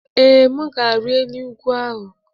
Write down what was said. Ee, m ga-arị elu ugwu ahụ.